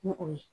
Ni o ye